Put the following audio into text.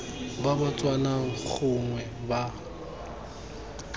ba ba tswang gongwe ba